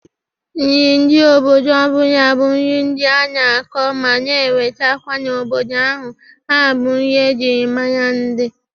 Nri ndị obodo ọbụla bụ nri ndị a na-akọ mana enwetakwa n'obodo ahụ: ha bụ nri e jiri mara ndị.